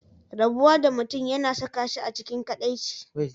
Rabuwa da mutum yana saka shi a cikin kadaici.